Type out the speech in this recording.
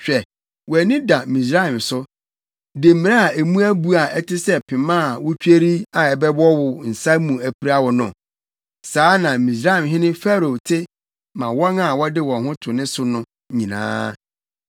Hwɛ wʼani da Misraim so, demmire a emu abu a ɛte sɛ pema a wutweri a ɛbɛwɔ wo nsa mu apira wo no! Saa na Misraimhene Farao te ma wɔn a wɔde wɔn ho to ne so no nyinaa.